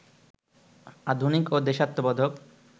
আধুনিক ও দেশাত্মবোধক